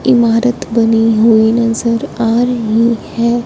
इमारत बनी हुई नजर आ रही है।